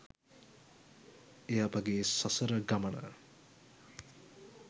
එය අපගේ සසර ගමන